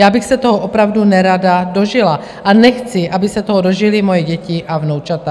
Já bych se toho opravdu nerada dožila a nechci, aby se toho dožily moje děti a vnoučata.